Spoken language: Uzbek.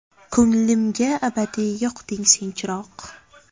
Ko‘nglimga abadiy yoqding sen chiroq.